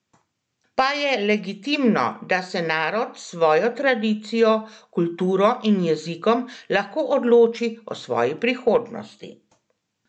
Pa je legitimno, da se narod s svojo tradicijo, kulturo in jezikom lahko odloči o svoji prihodnosti?